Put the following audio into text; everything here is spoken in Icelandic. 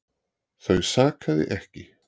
Þau sakaði ekki